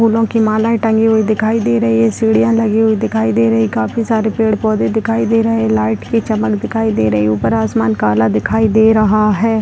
फूलों की मालाएं टंगी हुई दिखाई दे रही हैं सीढ़ियां लगी हुई दिखाई दे रही है काफी सारे पेड़-पौधे दिखाई दे रहे हैं लाइट की चमक दिखाई दे रही है ऊपर आसमान काला दिखाई दे रहा है।